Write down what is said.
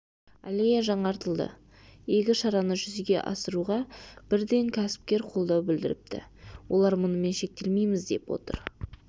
аллея жаңартылды игі шараны жүзеге асыруға бірден кәсіпкер қолдау білдіріпті олар мұнымен шектелмейміз деп отыр